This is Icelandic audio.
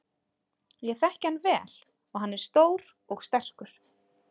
Ég þekki hann vel og hann er stór og sterkur.